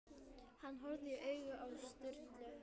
Hann horfði í augun á Sturlu.